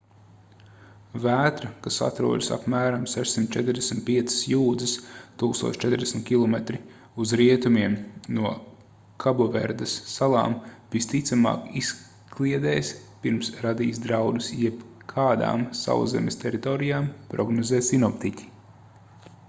vētra kas atrodas apmēram 645 jūdzes 1040 km uz rietumiem no kaboverdes salām visticamāk izkliedēs pirms radīs draudus jebkādām sauszemes teritorijām prognozē sinoptiķi